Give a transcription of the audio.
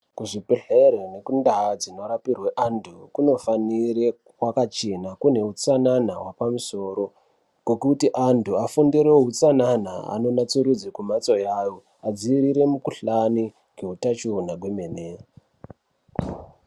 Kuzvibhedhlere nekundaa dzinorapirwe antu kunofanire kwakachena kune utsanana hwapamusoro. Kokuti antu afundire utsanana anonatsurudze kumhatso yavo, adziirire mukuhlani ngehutachiwana kwemene.